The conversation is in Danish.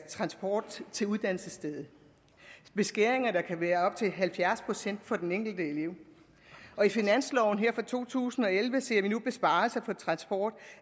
transport til uddannelsesstedet beskæringer der kan være op til halvfjerds procent for den enkelte elev og i finansloven for to tusind og elleve ser vi nu besparelser på transport